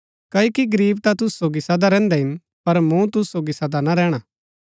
क्ओकि गरीब ता तूसु सोगी सदा रैहन्दै हिन पर मूँ तूसु सोगी सदा ना रैहणा